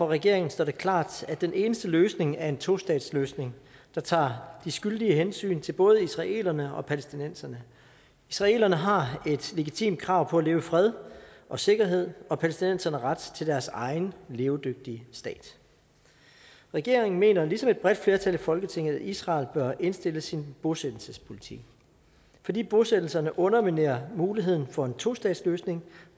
regeringen står det klart at den eneste løsning er en tostatsløsning der tager de skyldige hensyn til både israelerne og palæstinenserne israelerne har et legitimt krav på at leve i fred og sikkerhed og palæstinenserne ret til deres egen levedygtige stat regeringen mener ligesom et bredt flertal i folketinget at israel bør indstille sin bosættelsespolitik fordi bosættelserne underminerer muligheden for en tostatsløsning